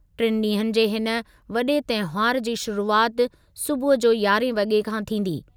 टिनि ॾींहनि जे हिन वॾे तहिंवारु जी शुरूआति सूबुह जो यारहें वॻे खां थींदी।